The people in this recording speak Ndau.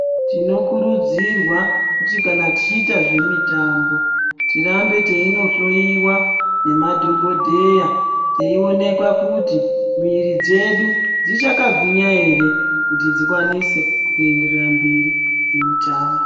Tinokurudzirwa kuti kana tichiita zvemitambo tirambe teinohloyiwa nemadhokodheya teyionekwa kuti miviri dzedu dzichakagwinya ere kuti dzikwanise kuenderera mberi nemitambo.